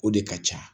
O de ka ca